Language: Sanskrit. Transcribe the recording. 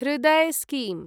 हृदय् स्कीम्